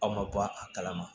Aw ma bɔ a kalama